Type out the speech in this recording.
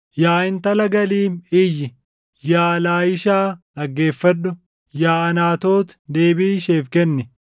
Yaa intala Galiim, iyyi! Yaa Laayishaa dhaggeeffadhu! Yaa Anaatoot deebii isheef kenni!